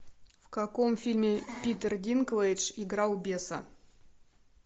в каком фильме питер динклэйдж играл беса